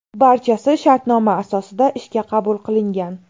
Barchasi shartnoma asosida ishga qabul qilingan.